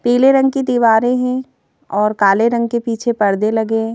पीले रंग की दीवारें हैं और काले रंग के पीछे परदे लगे हैं।